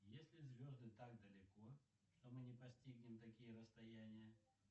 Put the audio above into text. если звезды так далеко что мы не постигнем такие расстояния